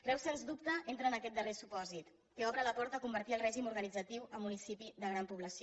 reus sens dubte entra en aquest darrer supòsit que obre la porta a convertir el règim organitzatiu en municipi de gran població